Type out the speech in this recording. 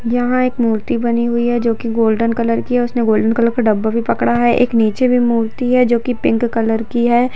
यहां एक मूर्ति बनी हुई है जो की गोल्डन कलर की है उसने गोल्डन कलर का डब्बा भी पड़ा हुआ है नीचे वह मूर्ति है जो की पिंक कलर की है।